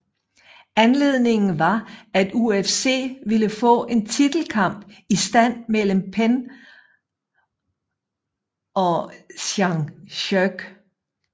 Anledningen var at UFC ville få en titelkamp i stand mellem Penn ocg Sean Sherk